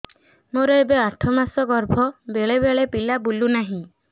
ମୋର ଏବେ ଆଠ ମାସ ଗର୍ଭ ବେଳେ ବେଳେ ପିଲା ବୁଲୁ ନାହିଁ